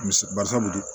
Mise barisabu de ye